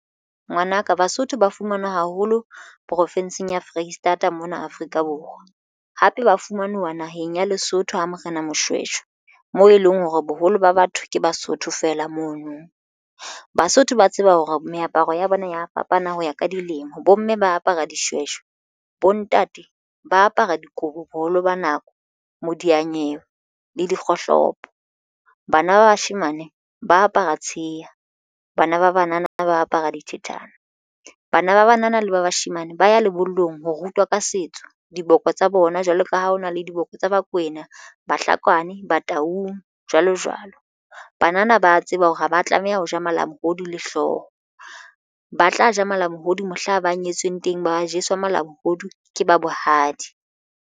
Ngwanaka Basotho ba fumanwa haholo profenseng ya Foreisetata mona Afrika Borwa, hape ba fumanuwa naheng ya Lesotho ha Morena Moshweshwe moo e leng hore boholo ba batho ke Basotho fela mono. Basotho ba tseba hore meaparo ya bona ya fapana ho ya ka dilemo bomme ba apara dishweshwe. Bontate ba apara dikobo boholo ba nako modiyanyewe le dikgohlopo. Bana ba bashemane ba apara tsheha bana ba banana ba apara dithethana. Bana ba banana le ba bashemane ba ya lebollong ho rutwa ka setso diboko tsa bona jwalo ka ha ho na le diboko tsa Bakwena Bahlakwana Bataung jwalo jwalo. Bhanana ba a tseba hore haba tlameha ho ja malamohodu le hlooho ba tla ja malamohodu mohla ba nyetsweng teng ba jeswa malamohodu ke ba bohadi.